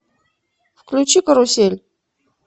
включи карусель